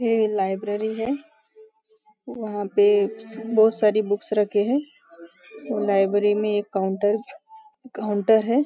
यह लाइब्रेरी है वहाँ पे बहुत सारी बुक्स रखी हैं लाइब्रेरी में एक काउंटर काउंटर है।